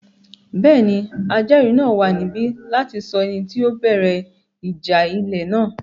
Bẹ́ẹ̀ni, ajẹ́ẹ̀rí náà wà níbí láti sọ ẹni tí ó bẹ̀rẹ̀ ìjà ilẹ̀ náà